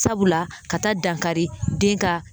Sabula ka taa dankari den ka